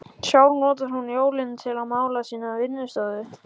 Sjálf notar hún jólin til að mála sína vinnustofu.